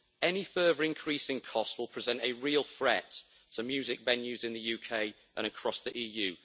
Any further increasing costs will present a real threat to music venues in the UK and across the EU.